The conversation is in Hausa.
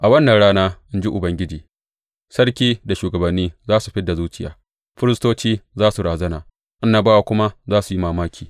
A wannan rana, in ji Ubangiji, sarki da shugabanni za su fid da zuciya, firistoci za su razana, annabawa kuma za su yi mamaki.